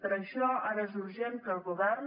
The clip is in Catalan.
per això ara és urgent que el govern